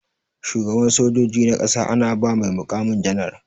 Shugaban sojoji na ƙasa ana ba mai mukamin janar.